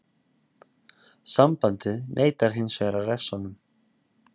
Sambandið neitar hinsvegar að refsa honum.